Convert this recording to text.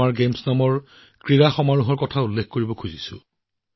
এই প্ৰতিযোগিতাই বৌদ্ধিক অক্ষমতা থকা আমাৰ খেলুৱৈসকলৰ আচৰিত সম্ভাৱনাক উলিয়াই আনে